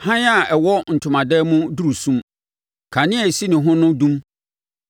Hann a ɛwɔ ne ntomadan mu duru sum; kanea a ɛsi ne ho no dum.